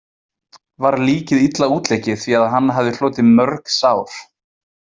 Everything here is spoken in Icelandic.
Var líkið illa útleikið því að hann hafði hlotið mörg sár.